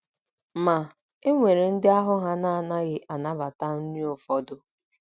Ma, e nwere ndị ahụ́ ha na - anaghị anabata nri ụfọdụ